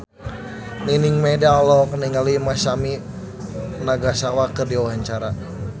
Nining Meida olohok ningali Masami Nagasawa keur diwawancara